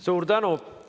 Suur tänu!